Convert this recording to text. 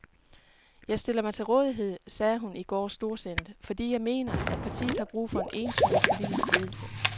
Jeg stiller mig til rådighed, sagde hun i går storsindet, fordi jeg mener, at partiet har brug for entydig politisk ledelse.